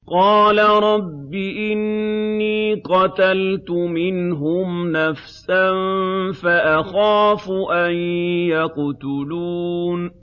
قَالَ رَبِّ إِنِّي قَتَلْتُ مِنْهُمْ نَفْسًا فَأَخَافُ أَن يَقْتُلُونِ